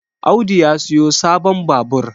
Audu ya siyo sabon Babur